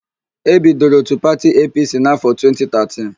E bidoro òtù pati EePiiSii n'áfọ 2013.